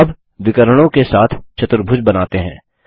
अब विकर्णों के साथ चतुर्भुज बनाते हैं